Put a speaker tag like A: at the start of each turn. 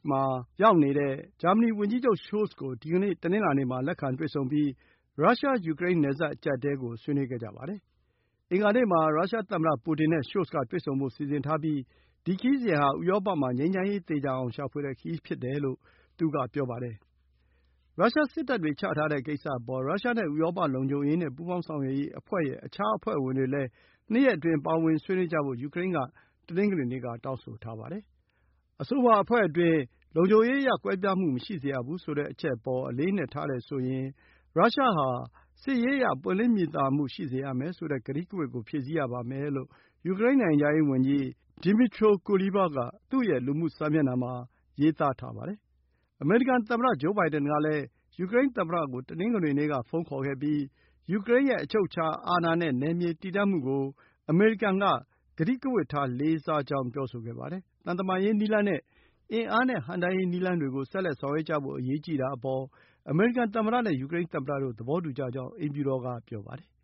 A: မှာရောက်နေတဲ့ ဂျာမနီဝန်ကြီးချုပ် Scholz ကို ဒီကနေ့ တနင်္လာနေ့မှာ လက်ခံတွေ့ဆုံပြီး ရုရှား-ယူကရိန်း နယ်စပ်အကျပ်အတည်းကို ဆွေးနွေးကြပါတယ်။ အင်္ဂါနေ့ မှာ ရုရှားသမ္မတပူတင်နဲ့ Scholz က တွေ့ဆုံဖို့စီစဉ်ထားပြီး ဒီခရီးစဉ်ဟာ ဥရောပ မှာ ငြိမ်းချမ်းရေး သေချာအောင် ရှာဖွေတဲ့ခရီးဖြစ်တယ်လို့ ဆိုပါတယ်။ ရုရှားစစ်တပ်တွေချထားတဲ့ကိစ္စအပေါ် ရုရှားနဲ့ဥရောပ လုံခြုံရေးနဲ့ ပူးပေါင်းဆောင်ရွက်ရေးအဖွဲ့ ရဲ့ အခြားအဖွဲ့ဝင်တွေလည်း ၂ ရက်အတွင်း ပါဝင်ဆွေးနွေးကြဖို့ ယူကရိန်းက တနင်္ဂနွေနေ့ က တောင်းဆိုထားပါတယ်။ အဆိုပါအဖွဲ့အတွင်း လုံခြုံရေးအရ ကွဲပြားမှုမရှိစေရဘူးဆိုတဲ့ အချက်အပေါ် အလေးအနက်ထားတယ်ဆိုရင် ရုရှားဟာ စစ်ရေးအရ ပွင့်လင်းမြင်သာမှု ရှိစေရမယ်ဆိုတဲ့ ကတိကဝတ ကို ဖြည့်ဆည်းရပါမယ်လို့ ယူကရိန်း နိုင်ငံခြားရေးဝန်ကြီး Dmytro Kuleba က သူ့ရဲ့ လူမှုစာမျက်နှာမှာ ရေးထားပါတယ်။ အမေရိကန်သမ္မတဂျိုးဘိုင်ဒင်ကလည်း ယူကရိန်းသမ္မတကို တနင်္ဂနွေနေ့က ဖုန်းခေါ်ခဲ့ပြီး ယူကရိန်းရဲ့ အချုပ်အခြာနဲ့ နယ်မြေတည်တံ့မှုကို အမေရိကန်က ကတိကဝတ်ထား လေးစားကြောင်း ပြောဆိုခဲ့ပါတယ်။ သံတမန်ရေးနည်းလမ်းနဲ့ အင်အားနဲ့ဟန့်တားရေးနည်းလမ်းတွေကို ဆက်လက် ဆောင်ရွက်ကြဖို့ အရေးကြီးတာအပေါ် အမေရိကန်သမ္မတနဲ့ ယူကရိန်းသမ္မတတို့ သဘော
B: တူကြကြောင်း အိမ်ဖြူတော်က ပြောပါတယ်။